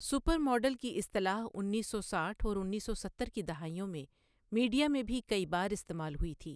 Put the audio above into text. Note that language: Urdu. سپر ماڈل کی اصطلاح انیس سو ساٹھ اور انیس سو ستر کی دہائیوں میں میڈیا میں بھی کئی بار استعمال ہوئی تھی۔